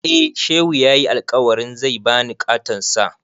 Eh, Shehu ya yi alkawarin zai ba ni ƙaton Sa.